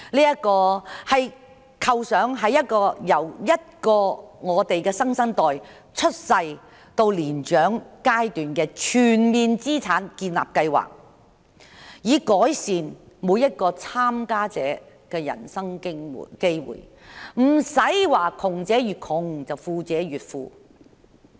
這個構想是一個為新生代由出生到年長階段建立資產的全面計劃，目的是改善每一名參加者的人生機會，不會窮者越窮，富者越富。